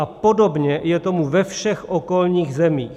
A podobně je tomu ve všech okolních zemích.